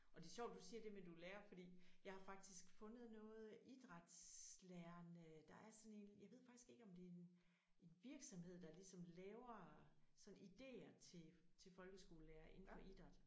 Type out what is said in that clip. Og det sjovt du siger det med du er lærer fordi jeg har faktisk fundet noget idrætslærerne der er sådan en jeg ved faktisk ikke om det er en virksomhed der ligesom laver sådan idéer til til folkeskolelærere inden for idræt